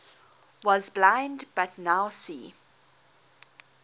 was blind but now see